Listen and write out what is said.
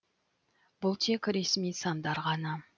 бұл тек ресми сандар ғана